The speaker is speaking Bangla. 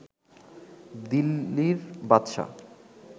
দিলি্লর বাদশা